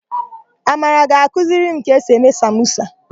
Amara ga-akụziri m ka esi eme samosa.